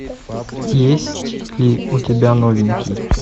есть ли у тебя новенький